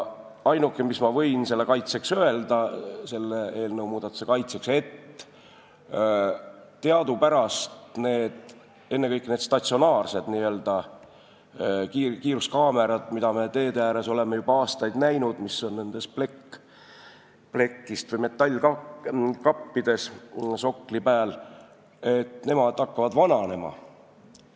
Ainuke, mis ma võin selle muudatuse kaitseks öelda, on see, et teadupärast need statsionaarsed n-ö kiiruskaamerad, mida me teede ääres oleme juba aastaid näinud, mis on nendes metallkappides soklite pääl, hakkavad vananema.